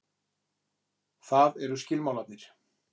Það eru skilmálarnir.